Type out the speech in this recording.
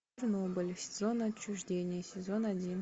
чернобыль зона отчуждения сезон один